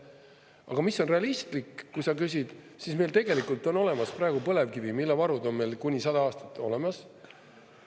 Aga mis on realistlik, kui sa küsid, siis meil tegelikult on olemas praegu põlevkivi, mille varud on meil kuni 100 aastat olemas.